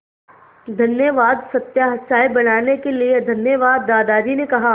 धन्यवाद सत्या चाय बनाने के लिए धन्यवाद दादाजी ने कहा